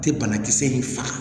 Tɛ banakisɛ in faga